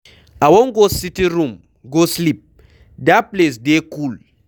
I wan go sitting room go sleep, dat place dey cool.